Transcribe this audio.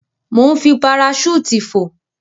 Mò ń fi paraṣúùtì fò.